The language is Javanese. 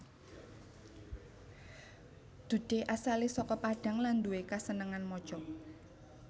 Dude asalé saka Padang lan nduwe kasenengan maca